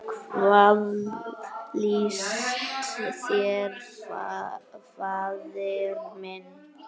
Hvað líst þér, faðir minn?